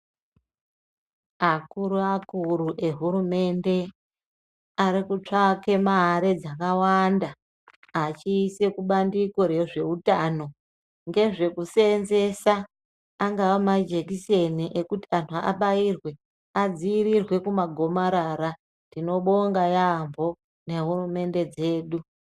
Akuru akuru ehurumende, arikutsvake mare dzakawanda, achise kubandiko rezvewutano ngezvekusenzesa, angaha majekiseni ekuti anu abayirwe, adzirirwe kumagomarara. Tinobonga yambo, nehurumende dzedu.